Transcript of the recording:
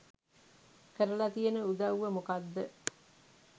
කරල තියන උදවුව මොකක්ද